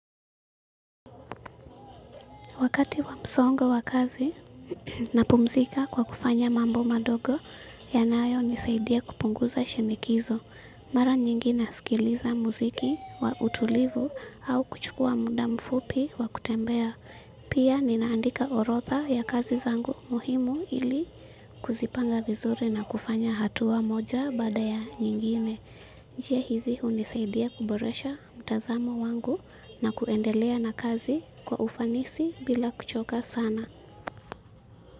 Wakati wa msongo wa kazi napumzika kwa kufanya mambo madogo yanayonisaidia kupunguza shinikizo. Mara nyingina nasikiliza muziki wa utulivu au kuchukua muda mfupi wa kutembea. Pia ninaandika orodha ya kazi zangu muhimu ili kuzipanga vizuri na kufanya hatua moja baada ya nyingine. Njia hizi unisaidia kuboresha mtazamo wangu na kuendelea na kazi kwa ufanisi bila kuchoka sana.